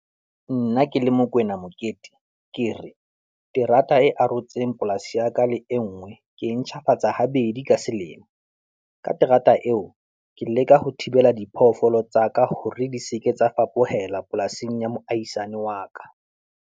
Nna ke le Mokoena Mokete, ke re terata e arotseng polasi ya ka le e nngwe ke e ntjhafatsa habedi ka selemo. Ka terata eo, ke leka ho thibela diphoofolo tsa ka hore di seke tsa fapohela polasing ya moahisane wa ka.